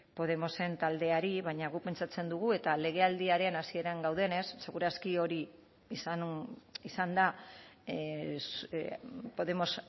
podemosen taldeari baina guk pentsatzen dugu eta legealdiaren hasieran gaudenez seguru aski hori izan da podemos